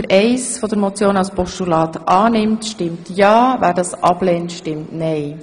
Wer Ziffer 1 als Postulat annimmt, stimmt ja, wer das ablehnt, stimmt nein.